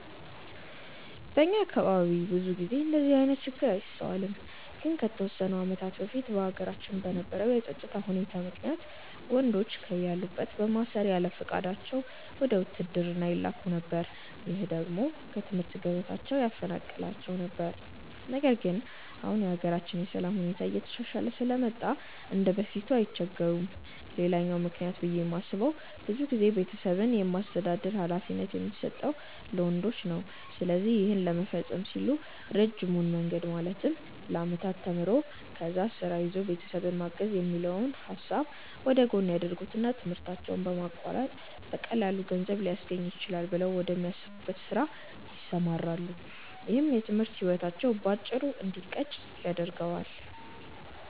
በእኛ አካባቢ ብዙ ጊዜ እንደዚህ አይነት ችግር አይስተዋልም። ግን ከተወሰኑ አመታቶች በፊት በሀገራችን በነበረው የፀጥታ ሁኔታ ምክንያት ወንዶችን ከያሉበት በማሰር ያለፍቃዳቸው ወደ ውትድርና ይላኩ ነበር። ይህ ደግሞ ከትምህርት ገበታቸው ያፈናቅላቸው ነበር። ነገር ግን አሁን የሀገራችን የሰላም ሁኔታ እየተሻሻለ ስለመጣ እንደበፊቱ አይቸገሩም። ሌላኛው ምክንያት ብዬ የማስበው ብዙ ጊዜ ቤተሰብን የማስተዳደር ሀላፊነት የሚሰጠው ለወንዶች ነው። ስለዚህ ይህን ለመፈፀም ሲሉ ረጅሙን መንገድ ማለትም ለአመታት ተምሮ፣ ከዛ ስራ ይዞ ቤተሰብን ማገዝ የሚለውን ሀሳብ ወደጎን ያደርጉትና ትምህርታቸውን በማቋረጥ በቀላሉ ገንዘብ ሊያስገኝልኝ ይችላል ብለው ወደሚያስቡት ስራ ይሰማራሉ። ይህም የትምህርት ህይወታቸው በአጭሩ እንዲቀጭ ያደርገዋል።